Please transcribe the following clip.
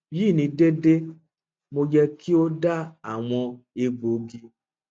yi ni deede mo yẹ ki o da awọn egboogi